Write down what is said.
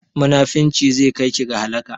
Munafurci zai kai ki ga halaka